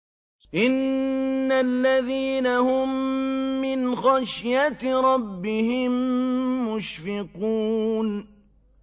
إِنَّ الَّذِينَ هُم مِّنْ خَشْيَةِ رَبِّهِم مُّشْفِقُونَ